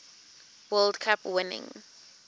world cup winning